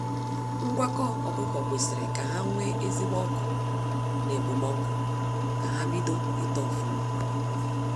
Ngwakọ ọkụkọ kwesịrị ka ha nwee ezigbo ọkụ na okpomọkụ ka ha bido ito ofụma.